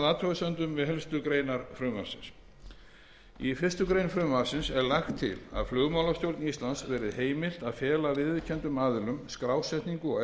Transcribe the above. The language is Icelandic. að afhugasemdum við helstu greinar frumvarpsins í fyrstu grein frumvarpsins er lagt er til að flugmálastjórn íslands verði heimilt að fela viðurkenndum aðilum skrásetningu og